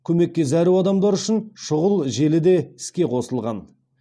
көмекке зәру адамдар үшін шұғыл желі де іске қосылған